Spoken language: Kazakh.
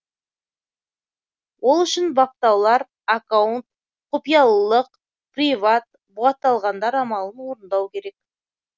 ол үшін баптаулар аккаунт құпиялылық приват бұғатталғандар амалын орындау керек